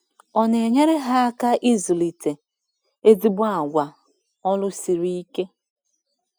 Ọ na-enyere ha aka ịzụlite ezigbo àgwà ọrụ siri ike.